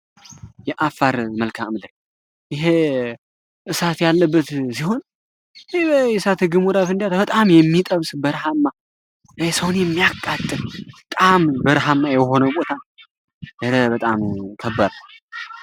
የአፋር መልካ ምድር ይህ እሳት ያለበት ሲሆን፤ እሳት ግሙራ ፍንዳታ በጣም የሚጠብስ በርሃማ ፤ ሰውን የሚያቃጥር በጣም በርሃማ የሆነ ቦታ የረ በጣም ከባድ ነው።